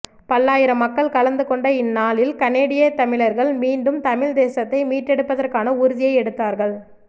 பல்லாயிரம் மக்கள் கலந்து கொண்ட இந்நாளில் கனெடிய தமிழர்கள் மீண்டும் தமிழ் தேசத்தை மீட்டெடுப்பதற்கான உறுதியை எடுத்தார்கள்